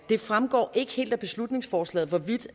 det fremgår ikke helt af beslutningsforslaget hvorvidt